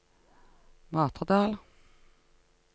Matredal